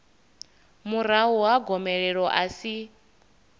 murahu ha gomelelo a si